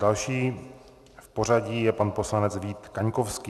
Další v pořadí je pan poslanec Vít Kaňkovský.